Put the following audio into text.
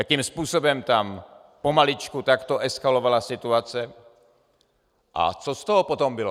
Jakým způsobem tam pomaličku takto eskalovala situace a co z toho potom bylo.